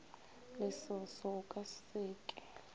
lesoso o ka se ke